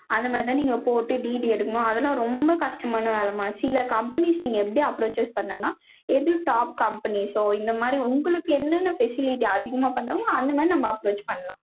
அந்த மாதிரி தான் நீங்க போட்டு DD எடுக்கணும். அதெல்லாம் ரொம்ப கஷ்டமான வேலைம்மா. சில companies நீங்க எப்படி approaches பண்ணலாம். எது top companies ஓ, இந்த மாதிரி உங்களுக்கு என்னென்ன facility அதிகமா பண்றாங்களோ, அந்த மாதிரி நம்ம approach பண்ணலாம்